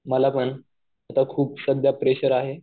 मला पण. आता खूप सध्या प्रेशर आहे.